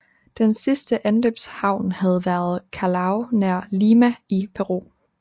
Den sidste anløbshavn havde været Callao nær Lima i Peru